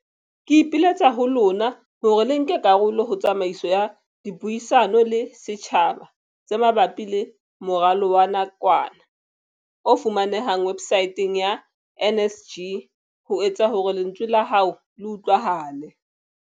Ke ipiletsa ho lona hore le nke karolo ho tsamaiso ya dipuisano le setjhaba tse ma bapi le moralo wa nakwana, o fumanehang websaeteng ya NSG, ho etsa hore lentswe la hao le utlwahale.